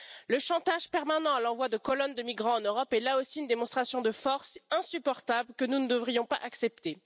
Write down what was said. Le chantage permanent et l'envoi de colonnes de migrants en Europe est aussi une démonstration de force insupportable que nous ne devrions pas accepter.